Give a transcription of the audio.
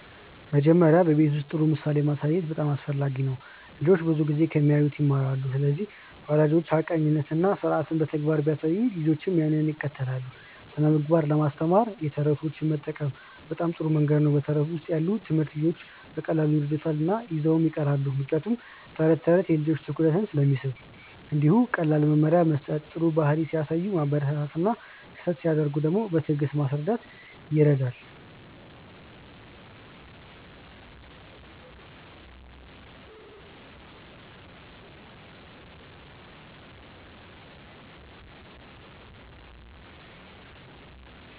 መጀመሪያ በቤት ውስጥ ጥሩ ምሳሌ ማሳየት በጣም አስፈላጊ ነው። ልጆች ብዙ ጊዜ ከሚያዩት ይማራሉ ስለዚህ ወላጆች ሐቀኛነትን እና ስርዓትን በተግባር ሲያሳዩ ልጆችም ያንን ይከተላሉ። ስነ ምግባር ለማስተማር የተረቶች መጠቀም በጣም ጥሩ መንገድ ነው በተረት ውስጥ ያለ ትምህርት ልጆች በቀላሉ ይረዱታል እና ይዘው ይቀራሉ ምክንያቱም ተረት ተረት የልጆችን ትኩረት ስለሚስብ። እንዲሁም ቀላል መመሪያ መስጠት ጥሩ ባህሪ ሲያሳዩ ማበረታታት እና ስህተት ሲያደርጉ በትዕግስት ማስረዳት ይረዳል።